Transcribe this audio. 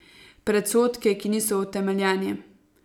Predsodke, ki niso utemeljeni.